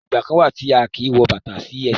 Ìgbà kán wá tí a kí wọ bàtá sí esẹ́